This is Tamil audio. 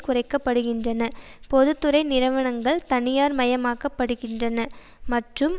குறைக்க படுகின்றன பொது துறை நிறுவனங்கள் தனியார்மயமாக்கப்படுகின்றன மற்றும்